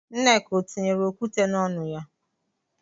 Nneka ọ tinyere okwute n'ọnụ ya?